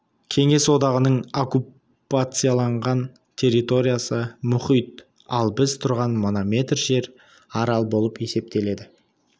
кеңес одағының оккупацияланған территориясы мұхит ал біз тұрған мына метр жер арал болып есептеледі